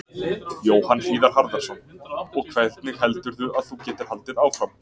Jóhann Hlíðar Harðarson: Og hvernig heldurðu að þú getir haldið áfram?